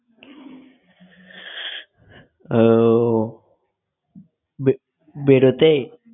উহ বে~ বেরোতে?